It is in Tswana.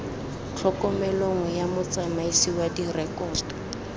tlhokomelong ya motsamaisi wa direkoto